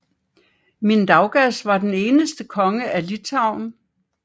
Mindaugas var den eneste konge af Litauen